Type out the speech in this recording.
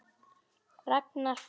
Ragnar Freyr.